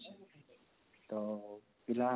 ତ ପିଲା